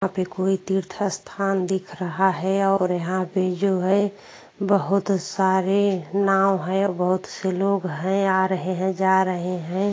यहाँ पे कोई तीर्थ स्थान दिख रहा है और यहाँ पे जो है बहौत सारे नाव हैं बहौत से लोग हैं आ रहे हैं जा रहे हैं।